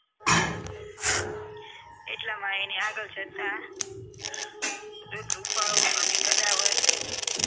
એટલા માટે આગળ જતા એક રૂપડો અને ગદાવાઈશ્ર